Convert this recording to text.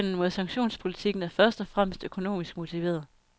Modstanden mod sanktionspolitikken er først og fremmest økonomisk motiveret.